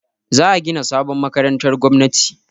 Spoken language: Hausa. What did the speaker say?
Za a gina sabon makarantar gwamnati.